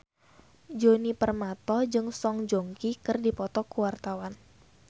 Djoni Permato jeung Song Joong Ki keur dipoto ku wartawan